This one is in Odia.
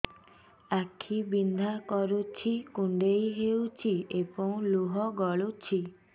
ଆଖି ବିନ୍ଧା କରୁଛି କୁଣ୍ଡେଇ ହେଉଛି ଏବଂ ଲୁହ ଗଳୁଛି